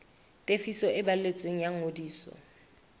tefiso e balletsweng ya ngodiso